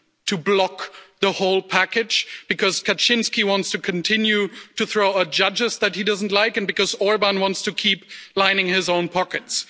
to block the whole package, because Kaczyński wants to continue to throw out judges that he doesn't like and because Orbán wants to keep lining his own pockets.